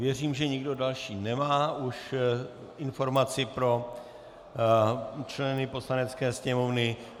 Věřím, že nikdo další nemá už informaci pro členy Poslanecké sněmovny.